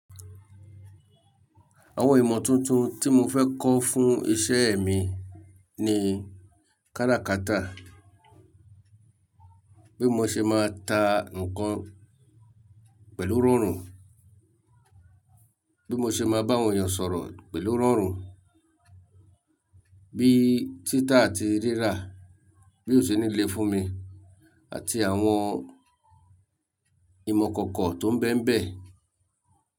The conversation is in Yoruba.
Àwọn ìmọ̀ tuntun tí mo fẹ́ kọ́ fún iṣẹ́ mi ni káràkátà, bí mo ṣe máa ta nǹkan pẹ̀lú rọ̀rùn, bí mo ṣe máa bá àwọn èèyàn sọ̀rọ̀ pẹ̀lú rọ̀rùn, bí tita àti rírá bí ò ṣe nílé fún mi àti àwọn ìmọ̀ ikọ̀ko tó ń bẹ́ ń bẹ́